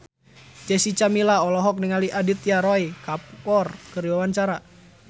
Jessica Milla olohok ningali Aditya Roy Kapoor keur diwawancara